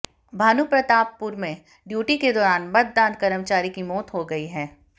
भानुप्रतापपुर में ड्यूटी के दौरान मतदान कर्मचारी की मौत हो गयी है